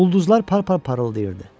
Ulduzlar par-par parıldayırdı.